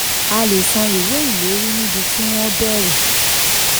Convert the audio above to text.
35. a lè san ìwé ìlérí níbi tí wọ́n béèrè.